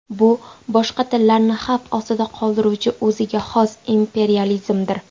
Bu boshqa tillarni xavf ostida qoldiruvchi o‘ziga xos imperializmdir.